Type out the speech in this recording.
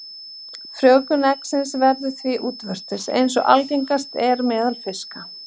Frjóvgun eggsins verður því útvortis, eins og algengast er meðal fiska.